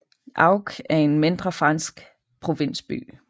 Auch er en mindre fransk provinsby